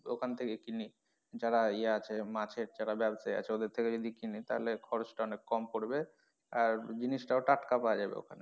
তো ওখান থেকে কিনি যারা ইয়ে আছে মাছের যারা ব্যাবসায়ী আছে ওদের থেকে যদি কিনি তাহলে খরচ টা অনেক কম পড়বে আর জিনিস টাও টাটকা পাওয়া যাবে ওখানে।